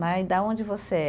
Né, e de onde você é?